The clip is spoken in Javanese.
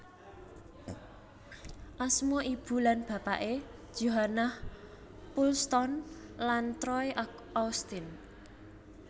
Asma ibu lan bapake Johannah Poulston lan Troy Austin